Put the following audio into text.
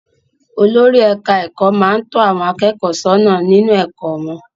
Olórí ẹ̀ka-ẹ̀kọ́ máa ń tọ́ àwọn akẹ́kọ̀ọ́ sọ́nà nínú ẹ̀kọ́ wọn.